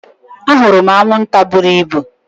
Ahụrụ m anwụnta buru ibu